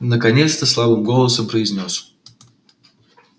наконец-то слабым голосом произнёс